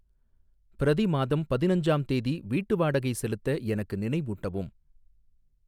பிரதி மாதம் பதினஞ்சாம் தேதி வீட்டு வாடகை செலுத்த எனக்கு நினைவூட்டவும்.